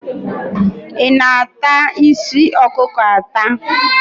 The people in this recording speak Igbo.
Ị na-ata isi ọkụkọ ata?